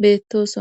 beettosona